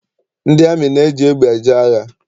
Ndị amị na-eji egbe eje agha.